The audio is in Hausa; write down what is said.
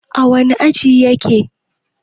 a wane aji yake?